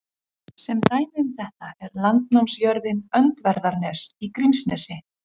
Sem dæmi um þetta er landnámsjörðin Öndverðarnes í Grímsnesi.